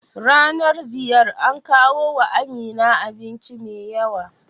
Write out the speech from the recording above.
Ranar ziyar an kawo wa Amina abinci mai yawa